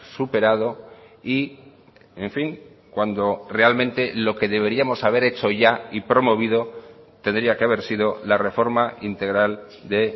superado y en fin cuando realmente lo que deberíamos haber hecho ya y promovido tendría que haber sido la reforma integral de